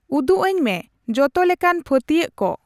ᱩᱫᱩᱜᱟᱹᱧ ᱢᱮ ᱡᱚᱛᱚ ᱞᱮᱠᱟᱱ ᱯᱷᱟᱹᱛᱭᱟᱹᱜ ᱠᱚ ᱾